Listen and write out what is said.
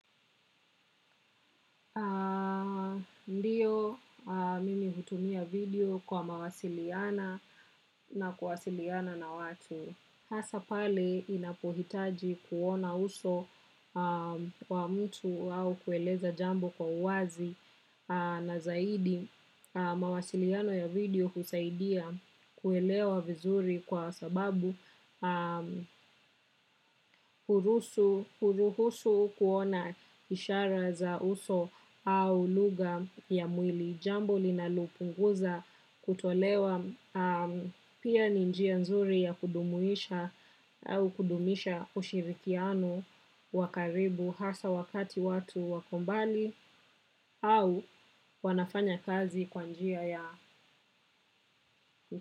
Ndiyo, mimi hutumia video kwa mawasiliano na kuwasiliana na watu. Hasa pale inapohitaji kuona uso wa mtu au kueleza jambo kwa uwazi na zaidi mawasiliano ya video husaidia kuelewa vizuri kwa sababu huruhusu kuona ishara za uso au lugha ya mwili. Jambo linalopunguza kutolewa pia ni njia nzuri ya kujumuisha au kudumisha ushirikiano wakaribu hasa wakati watu wakombali au wanafanya kazi kwa njia ya.